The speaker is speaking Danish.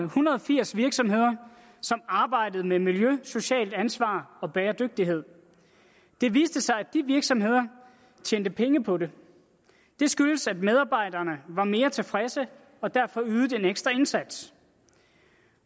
hundrede og firs virksomheder som arbejder med miljø socialt ansvar og bæredygtighed det viser sig at de virksomheder har tjent penge på det det skyldes at medarbejderne var mere tilfredse og derfor ydede en ekstra indsats